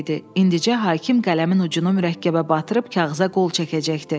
İndicə hakim qələmin ucunu mürəkkəbə batırıb kağıza qol çəkəcəkdi.